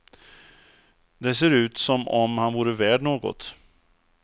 Det ser ut som om han vore värd något.